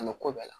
An bɛ ko bɛɛ la